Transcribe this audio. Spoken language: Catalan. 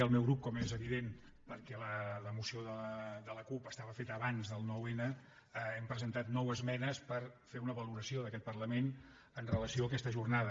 el meu grup com és evi·dent perquè la moció de la cup estava feta abans del nou·n hem presentat nou esmenes per fer una valora·ció d’aquest parlament amb relació a aquesta jornada